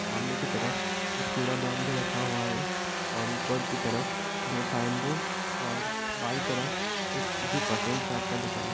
सामने की तरफ एक कूड़ा दान भी रखा हुआ है और ऊपर की तरफ दो साइन बोर्ड और बायीं तरफ एक किसी पटेल साहब का दूकान है। --